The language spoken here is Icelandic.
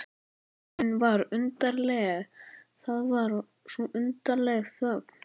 Þögnin var undarleg, það var svo undarleg þögn.